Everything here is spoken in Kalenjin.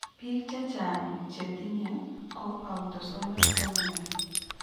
Biik chechang chetinye ko autosomal dominant